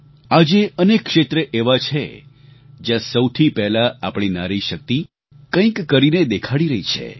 આજે અનેક ક્ષેત્ર એવાં છે જ્યાં સૌથી પહેલા આપણી નારી શક્તિ કંઈક કરીને દેખાડી રહી છે